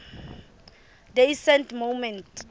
day saint movement